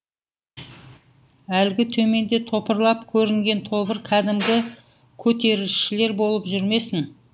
әлгі төменде топырлап көрінген тобыр кәдімгі көтерілісшілер болып жүрмесін